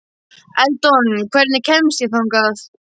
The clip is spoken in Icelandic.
Eldon, hvernig kemst ég þangað?